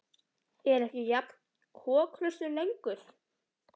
Ég var ekki jafn kokhraustur lengur.